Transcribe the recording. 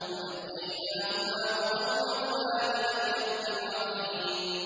وَنَجَّيْنَاهُمَا وَقَوْمَهُمَا مِنَ الْكَرْبِ الْعَظِيمِ